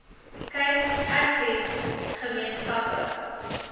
cape access gemeenskappe